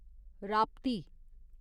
Rapti